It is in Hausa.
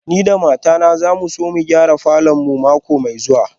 Ni da matata za mu so mu gyara falor mu mako mai zuwa